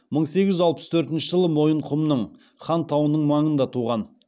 мың сегіз жүз алпыс төртінші жылы мойынқұмның хан тауының маңында туған